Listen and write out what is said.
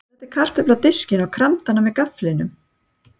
Hann setti kartöflu á diskinn og kramdi hana með gafflinum.